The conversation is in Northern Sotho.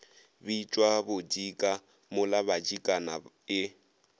bitšwa bodika mola badikana e